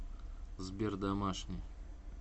сбер домашний